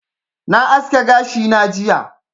Na aske gashi na jiya